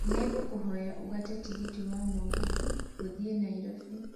nĩ ngũkũhoya ugate tigiti wa mũgithi gũthiĩ nairobi